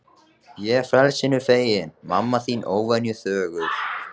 Ég frelsinu feginn, mamma þín óvenju þögul.